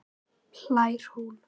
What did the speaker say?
hlær hún.